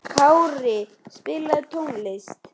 Kári, spilaðu tónlist.